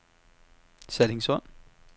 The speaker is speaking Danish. Sallingsund